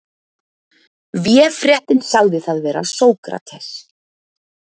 Véfréttin sagði það vera Sókrates.